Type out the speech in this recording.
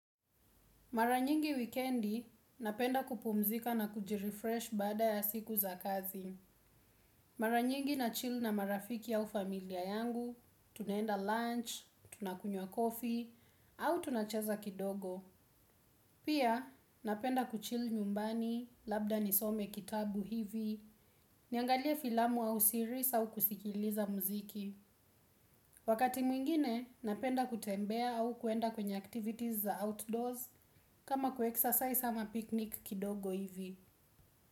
Mara nyingi wikiendi, napenda kupumzika na kujirefresh bada ya siku za kazi. Mara nyingi nachill na marafiki au familia yangu, tunaenda lunch, tunakunywa coffee, au tunacheza kidogo. Pia napenda kuchill nyumbani labda nisome kitabu hivi niangalie filamu au series au kusikiliza mziki wakati mwingine napenda kutembea au kwenda kwenye activities za outdoors kama ku exercise ama picnic kidogo hivi.